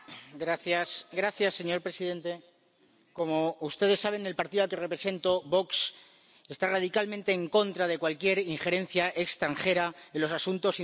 Señor presidente, como ustedes saben, el partido al que representó —Vox— está radicalmente en contra de cualquier injerencia extranjera en los asuntos internos de nuestro país.